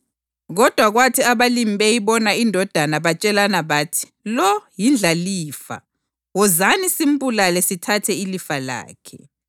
Kodwa kwathi abalimi beyibona indodana batshelana bathi, ‘Lo yindlalifa. Wozani simbulale sithathe ilifa lakhe.’